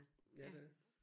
Ja det er